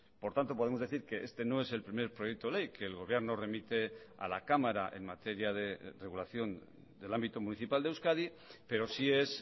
por tanto podemos decir que este no es el primer proyecto ley que el gobierno remite a la cámara en materia de regulación del ámbito municipal de euskadi pero sí es